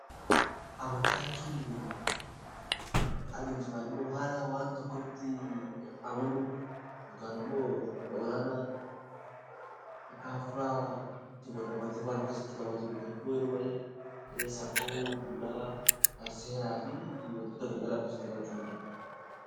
Amantaa jechuun kan duraan haala waan tokkotti amanuun yookaan immoo humna olaanaa akka hafuuraatti qabatee, Kun immoo yeroo baayyee safuu, duudhaa seeraa fi waantota kana of keessatti qabachuu danda'a.